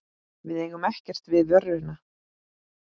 Við eigum ekkert við vöruna.